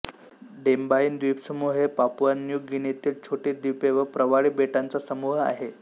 Deboyne द्वीपसमूह हे Papua New गिनीतील छोटी द्वीपे व प्रवाळी बेटांचा समूह आहे